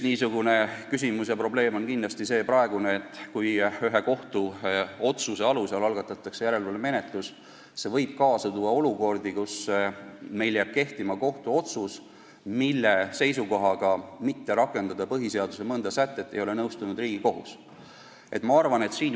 Üks probleem on kindlasti see, et kui kohtuotsuse alusel algatatakse järelevalvemenetlus, siis see võib kaasa tuua olukorra, kus meil jääb kehtima kohtuotsus, mille seisukohaga mitte rakendada põhiseaduse mõnda sätet Riigikohus ei ole nõustunud.